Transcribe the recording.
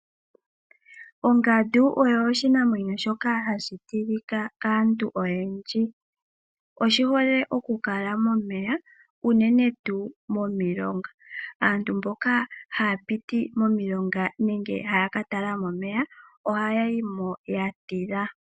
Ongandu oyo oshinamwenyo shoka hashi tilika kaantu oyendji oshihole okukala momeya unene ngaa momilonga. Aantu mboka haya piti momilonga nenge haya katala mo omeya ohaya yimo yatila.